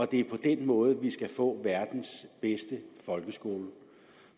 det er på den måde vi skal få verdens bedste folkeskole